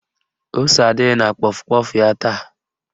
Ose adịghị na kpọf kpọf ya taa